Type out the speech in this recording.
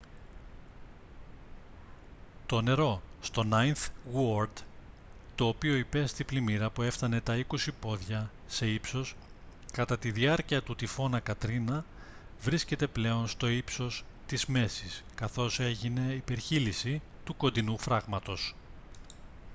το νερό στο νάινθ γουόρντ το οποίο υπέστη πλημμύρα που έφτανε τα 20 πόδια σε ύψος κατά τη διάρκεια του τυφώνα κατρίνα βρίσκεται πλέον στο ύψος της μέσης καθώς έγινε υπερχείλιση του κοντινού φράγματος